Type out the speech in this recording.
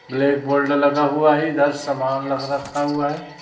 Black board लगा हुआ है इधर सामान लग रखा हुआ है।